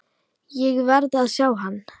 Ég verð að sjá hann.